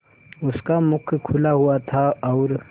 उसका मुख खुला हुआ था और